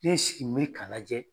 Ne ye n sigi n bɛ k'a lajɛ.